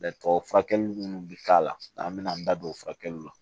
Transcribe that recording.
furakɛli minnu bɛ k'a la an bɛna an da don o furakɛliw la